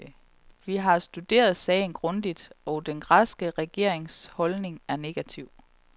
Vi har studeret sagen grundigt, og den græske regerings holdning er negativ.